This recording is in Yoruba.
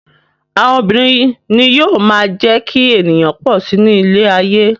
Àwọn obìnrin ni yóò máa jẹ́ kí ènìyàn pọ̀ si ní ilé ayé.